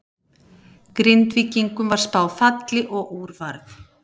Grindvíkingum var spáð falli og úr varð.